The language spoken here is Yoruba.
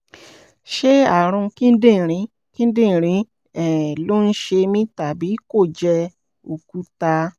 ṣé ààrùn kíndìnrín kíndìnrín um ló ń ṣe mí tàbí kó jẹ́ òkúta?